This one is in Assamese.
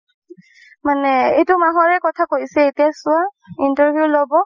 মানে এইটো মাহৰে কথা কৈছে এতিয়া চোৱা interview ল'ব